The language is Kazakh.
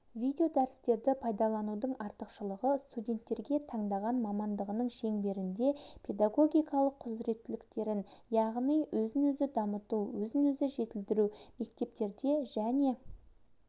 видеодәрістерді пайдаланудың артықшылығы студенттерге таңдаған мамандығының шеңберінде педагогикалық құзыреттіліктерін яғни өзін-өзі дамыту өзін-өзі жетілдіру мектептерде және